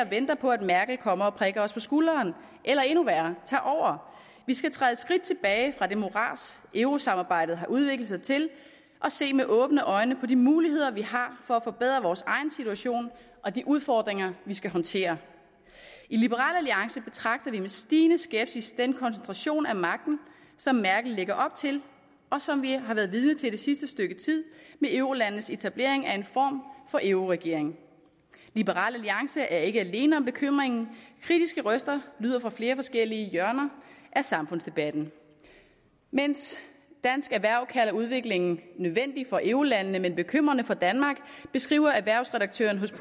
venter på at merkel kommer og prikker os på skulderen eller endnu værre tager over vi skal træde et skridt tilbage fra det morads eurosamarbejdet har udviklet sig til og se med åbne øjne på de muligheder vi har for at forbedre vores egen situation og de udfordringer vi skal håndtere i liberal alliance betragter vi med stigende skepsis den koncentration af magten som merkel lægger op til og som vi har været vidne til det sidste stykke tid med eurolandenes etablering af en form for euroregering liberal alliance er ikke alene om bekymringen kritiske røster lyder fra flere forskellige hjørner af samfundsdebatten mens dansk erhverv kalder udviklingen nødvendig for eurolandene men bekymrende for danmark beskriver erhvervsredaktøren hos